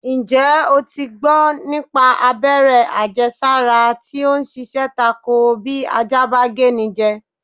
Ǹjẹ́́ o ti gbọ́ nípa abẹ́rẹ́ àjẹsára tí o ń ṣiṣẹ́ tako bí ajá bá géni jẹ?